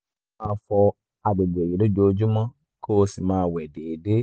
máa fọ àgbègbè yìí lójoojúmọ́ kó o sì máa wẹ̀ déédéé